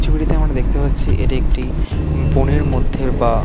ছবিটিতে আমরা দেখতে পাচ্ছি এটি একটি বনের মধ্যের বা--